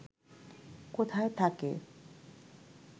কোথায় থাকে